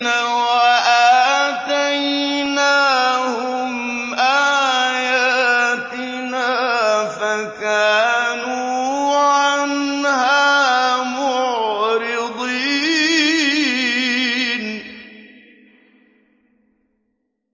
وَآتَيْنَاهُمْ آيَاتِنَا فَكَانُوا عَنْهَا مُعْرِضِينَ